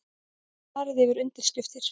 Farið yfir undirskriftir